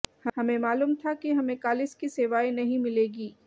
हमें मालूम था कि हमें कालिस की सेवाएं नहीं मिलेगी